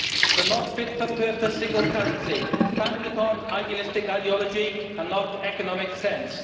The not fit for purpose single currency, founded upon idealistic ideology and not economic sense.